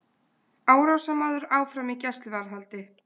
Árásarmaður áfram í gæsluvarðhaldi